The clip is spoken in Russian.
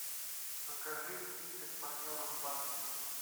покажи список партнеров банка